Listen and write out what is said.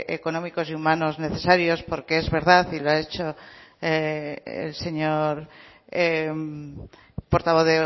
económicos y humanos necesarios porque es verdad y lo ha dicho el señor portavoz